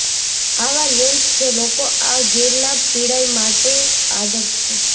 આવા લેન્સ જે લોકો આ ગેરલાભ પીડાય માટે આદર્શ છે